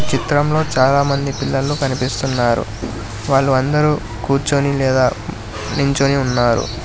చిత్రంలో చాలామంది పిల్లలు కనిపిస్తున్నారు వాళ్ళు అందరూ కూర్చొని లేదా నించోని ఉన్నారు.